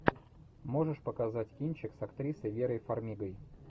можешь показать кинчик с актрисой верой фармигой